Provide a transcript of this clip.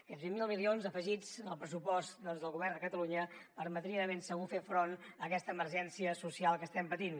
aquests vint miler milions afegits al pressupost del govern de catalunya permetrien de ben segur fer front a aquesta emergència social que estem patint